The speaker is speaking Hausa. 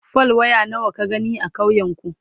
fal. waya nawa ka gani a ƙauyen ku?